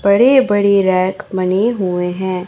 बड़े बड़े रैक बने हुए हैं।